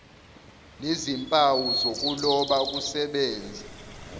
nezimpawu zokuloba kusebenze